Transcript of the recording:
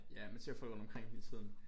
Ja man ser folk rundt omkring hele tiden